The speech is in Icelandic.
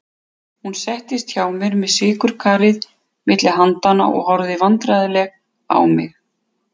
Hún settist hjá mér með sykurkarið milli handanna og horfði vandræðaleg á mig.